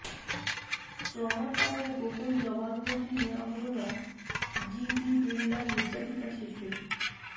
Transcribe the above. ট্রমার কারণে গোপন জবানবন্দি নেওয়া হল না জিডি বিড়লার নির্যাতিতা শিশুর